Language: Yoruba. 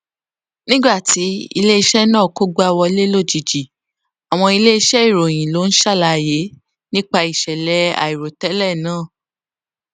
nígbà tí iléiṣẹ náà kógbá wọlé lójijì àwọn iléiṣẹ ìròyìn ló ń ṣàlàyé nípa ìṣẹlẹ àìròtélè náà